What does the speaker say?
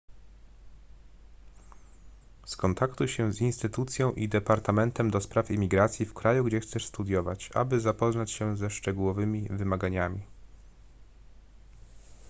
skontaktuj się z instytucją i departamentem ds imigracji w kraju gdzie chcesz studiować aby zapoznać się ze szczegółowymi wymaganiami